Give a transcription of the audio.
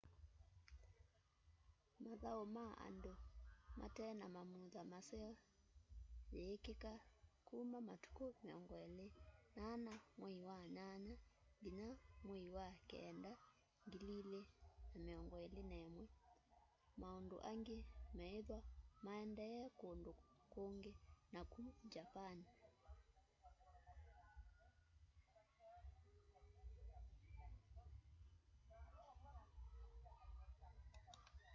mathau ma andu mate na mamutha maseo yiikika kuma matuku 24 mwei wa nyanya nginya mwei wa keenda 2021 maundu angi meithwa maendee kundu kungi naku japani